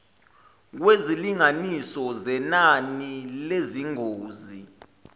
kwezilinganiso zenani lezingozi